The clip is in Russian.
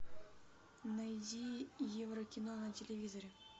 найди еврокино на телевизоре